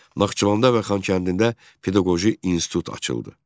Naxçıvanda və Xankəndində Pedaqoji İnstitut açıldı.